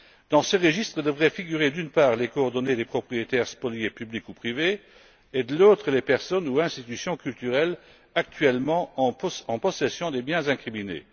Dans ce registre devraient figurer, d'une part, les coordonnées des propriétaires spoliés publics ou privés et, de l'autre, les personnes ou institutions culturelles actuellement en possession des biens incriminés.